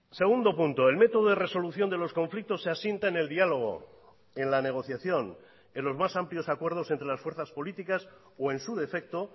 segundo punto el método de resolución de los conflictos se asienta en el diálogo en la negociación en los más amplios acuerdos entre las fuerzas políticas o en su defecto